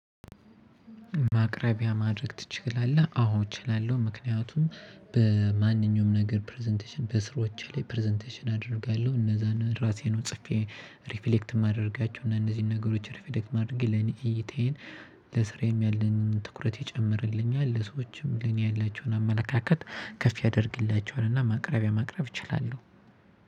ማቅረቢያ ማድረግ ትችላለህ? አዎ እችላለሁ ምክንያቱም በማንኛውም ነገር ፕረዘንቴሽን በስራወቼ ላይ ፕረዘንቴሽን አደርጋለሁ። እነዛን ራሴ ጽፌ ሪፍሌክት የማደርጋቸው እና እነዚህን ነገሮች ሪፍሌክት ማድረጌ ለኔ እይታዬን ለስራዬም ያለንን ትኩረት ይጨምርልኛል። ለሰዎችም ለኔ ያላቸውን አመለካከት ከፍ ያደርግላቸዋል። እና ማቅረቢያ ማቅረብ እችላለሁ።